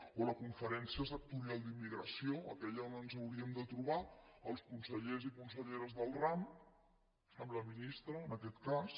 o la conferència sectorial d’immigració aquella on ens hauríem de trobar els consellers i conselleres del ram amb la ministra en aquest cas